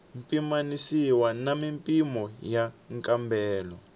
pimanisiwa na mimpimo ya nkambelo